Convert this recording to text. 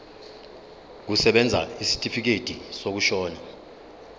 kusebenza isitifikedi sokushona